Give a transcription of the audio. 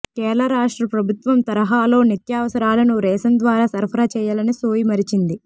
కేరళ రాష్ట్ర ప్రభుత్వం తరహాలో నిత్యావసరాలను రేషన్ ద్వారా సరఫరా చేయాలనే సోయి మరిచింది